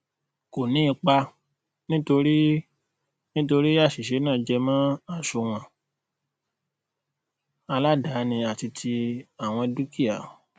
ko ni ipa nitori nitori asise naa jemo asúnwòn aladaani àti ti àwọn dúkìá